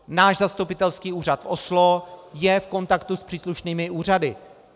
Náš zastupitelský úřad v Oslo je v kontaktu s příslušnými úřady.